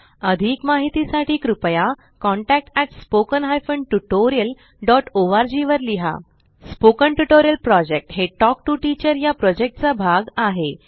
अधिक माहितीसाठी कृपया contact at spoken hyphen tutorial dot org वर लिहा स्पोकन ट्युटोरियल प्रॉजेक्ट हे टॉक टू टीचर या प्रॉजेक्टचा भाग आहे